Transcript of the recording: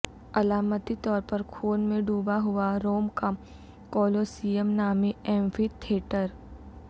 علامتی طور پر خون میں ڈوبا ہوا روم کا کولوسیئم نامی ایمفی تھیٹر